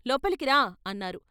లోపలికి రా" అన్నారు.